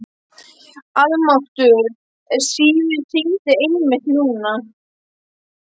Almáttugur ef síminn hringdi einmitt núna.